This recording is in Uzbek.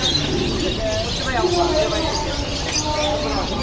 pivo va eng asosiysi qimor o‘yinlari.